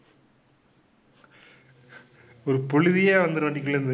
ஒரு புழுதியே வந்துரும் வண்டிக்குள்ள இருந்து.